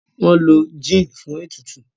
wón ló gin fún ètùtù..